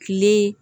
Kile